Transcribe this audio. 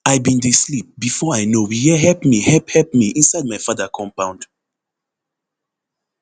i bin dey sleep bifor i know we hear help me help help me inside my father compound